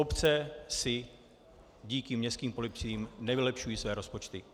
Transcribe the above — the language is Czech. Obce si díky městským policiím nevylepšují své rozpočty.